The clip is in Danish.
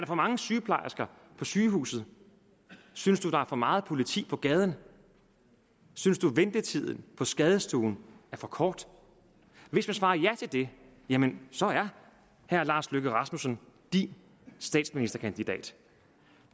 for mange sygeplejersker på sygehuset synes du der er for meget politi på gaden synes du ventetiden på skadestuen er for kort hvis du svarer ja til det jamen så er herre lars løkke rasmussen din statsministerkandidat